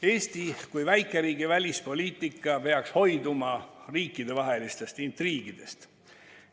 Eesti kui väikeriigi välispoliitika peaks hoiduma riikidevahelistest intriigidest.